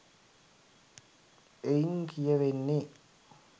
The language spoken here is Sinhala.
එයින් කියැවෙන්නේ